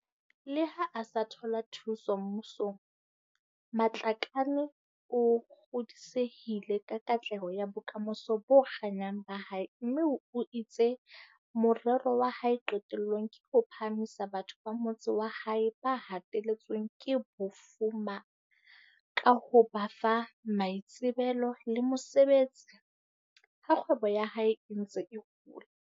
Le ha a sa thola thuso mmu song, Matlakane o kgodisehile ka katleho ya bokamoso bo kganyang ba hae mme o itse morero wa hae qetellong ke ho phahamisa batho ba motse wa habo ba hateletsweng ke bofu ma ka ho ba fa maitsebelo le mosebetsi, ha kgwebo ya hae e ntse e hola.